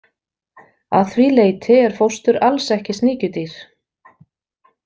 Að því leyti er fóstur alls ekki sníkjudýr.